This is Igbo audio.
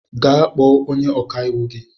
Gaa kpọọ onye ọkàiwu gị!